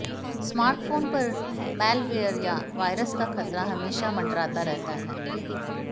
smartphone पर malware या virus का खतरा हमेशा मंडराता रहता है